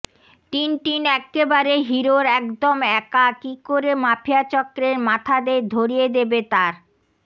Tintin এক্কেবারে হিরোর একদম একা কী করে মাফিয়া চক্রের মাথাদের ধরিয়ে দেবে তার